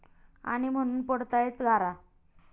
...आणि म्हणून पडतायेत गारा!